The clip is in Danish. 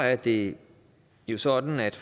at det er sådan at